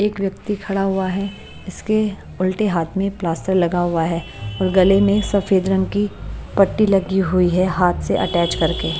एक व्यक्ति खड़ा हुआ है इसके उल्टे हाथ में प्लास्टर लगा हुआ है और गली में सफेद रंग की पट्टी लगी हुई है हाथ से अटैच कर के--